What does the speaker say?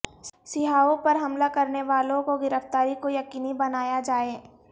سیاحوں پر حملہ کرنے والوں کی گرفتاری کو یقینی بنایا جائے